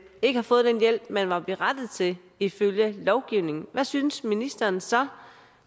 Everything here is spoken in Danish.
ikke har fået den hjælp man var berettiget til ifølge lovgivningen hvad synes ministeren så